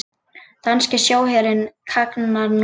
Danski sjóherinn kannar nú málið